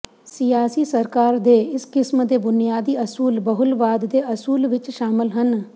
ਸਿਆਸੀ ਸਰਕਾਰ ਦੇ ਇਸ ਕਿਸਮ ਦੇ ਬੁਨਿਆਦੀ ਅਸੂਲ ਬਹੁਲਵਾਦ ਦੇ ਅਸੂਲ ਵਿੱਚ ਸ਼ਾਮਲ ਹਨ